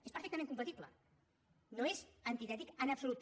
és perfectament compatible no és antitètic en absolut